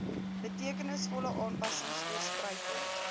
betekenisvolle aanpassings voorspruitend